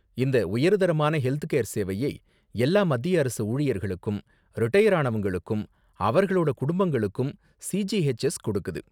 இந்த உயர்தரமான ஹெல்த்கேர் சேவையை எல்லா மத்திய அரசு ஊழியர்களுக்கும், ரிடயர் ஆனவங்களுக்கும், அவர்களோட குடும்பங்களுக்கும் சிஜிஹெச்எஸ் கொடுக்குது.